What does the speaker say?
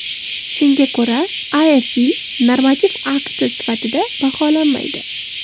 Shunga ko‘ra afv normativ akt sifatida baholanmaydi.